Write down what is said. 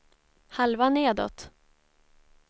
halva nedåt